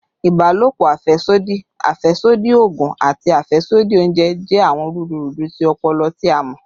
Ibalopo afẹsodi, afẹsodi oogun, ati afẹsodi ounjẹ jẹ awọn rudurudu ti ọpọlọ ti a mọ